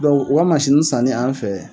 u ka mansini sanni an fɛ